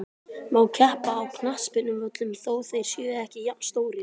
Má keppa á knattspyrnuvöllum þó þeir séu ekki jafnstórir?